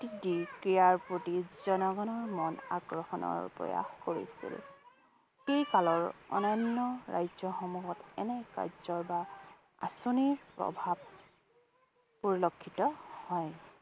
দি ক্ৰীড়াৰ প্ৰতি জনগণৰ মত আকৰ্ষণৰ প্ৰয়াস কৰিছিল। সেই কালৰ অন্যান্য ৰাজ্যসমূহত এনে কাৰ্য্যৰ বা আঁচনিৰ প্ৰভাৱ পৰিলক্ষিত হয়।